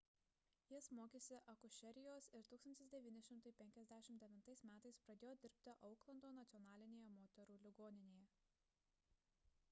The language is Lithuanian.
jis mokėsi akušerijos ir 1959 m pradėjo dirbti auklando nacionalinėje moterų ligoninėje